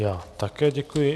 Já také děkuji.